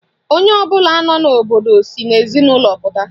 Onye ọbụla nọ n'obodo si n'ezinụlọ pụta